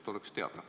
Et oleks teada.